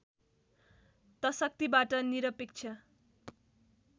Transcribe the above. त शक्तिबाट निरपेक्ष